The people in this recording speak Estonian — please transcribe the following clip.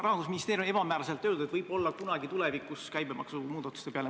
Rahandusministeerium on ebamääraselt öelnud, et võib-olla kunagi tulevikus mõeldakse käibemaksumuudatuste peale.